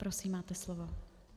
Prosím, máte slovo.